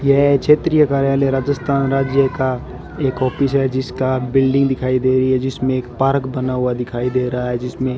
यह क्षेत्रीय कार्यालय राजस्थान राज्य का एक ऑफिस है जिसका बिल्डिंग दिखाई दे रही है जिसमें एक पार्क बना हुआ दिखाई दे रहा है जिसमें--